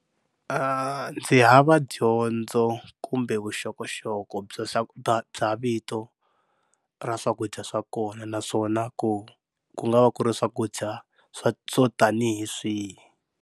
Ndzi hava dyondzo kumbe vuxokoxoko bya bya vito ra swakudya swa kona naswona ku ku nga va ku ri swakudya swo swo tanihi swihi.